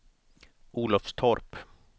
Olofstorp